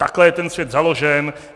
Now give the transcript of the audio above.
Takhle je ten svět založen.